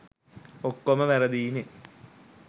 ඔක්කොම වැරදියිනේ.